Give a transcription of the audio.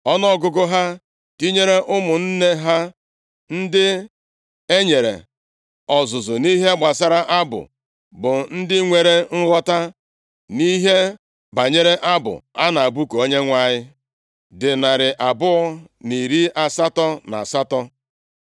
Ọnụọgụgụ ha tinyere ụmụ nne ha ndị e nyere ọzụzụ nʼihe gbasara abụ, bụ ndị nwere nghọta nʼihe banyere abụ a na-abụku Onyenwe anyị, dị narị abụọ, na iri asatọ na asatọ (288).